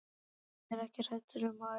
Ég er ekki hrædd um að ærast.